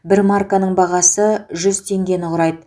бір марканың бағасы жүз теңгені құрайды